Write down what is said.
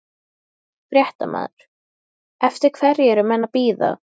Kastaði kveðju á fjölskylduna og tók til fótanna.